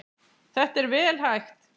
Þetta er vel hægt.